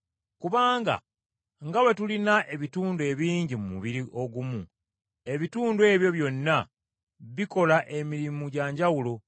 Kubanga nga bwe tulina ebitundu ebingi mu mubiri ogumu, ebitundu ebyo byonna bikola emirimu gya njawulo.